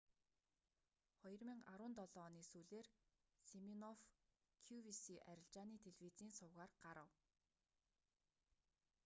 2017 оны сүүлээр симинофф кювиси арилжааны телевизийн сувгаар гарав